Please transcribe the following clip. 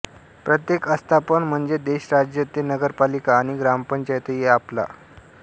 प्रत्येक आस्थापन म्हणजे देश राज्य ते नगरपालिका आणि ग्रामपंचायतही आपला अ